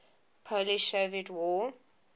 polish soviet war